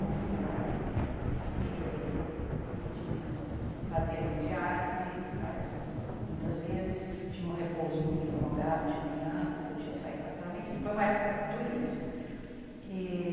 muito grave, e e fazia hemodiálise muitas vezes, tinha um repouso muito prolongado de manhã, não podia sair da cama, enfim, foi uma época duríssima. E